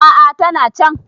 a a tana can